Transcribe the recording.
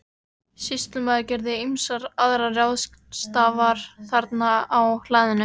Sýslumaður gerði ýmsar aðrar ráðstafanir þarna á hlaðinu.